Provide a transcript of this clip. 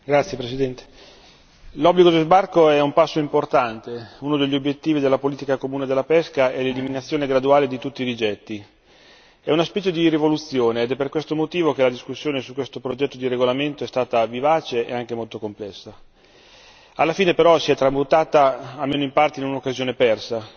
Signora Presidente, onorevoli colleghi, l'obbligo di sbarco è un passo importante uno degli obiettivi della politica comune della pesca è l'eliminazione graduale di tutti i rigetti. È una specie di rivoluzione ed è per questo motivo che la discussione su questo progetto di regolamento è stata vivace e anche molto complessa. Alla fine però si è tramutata almeno in parte in un'occasione persa.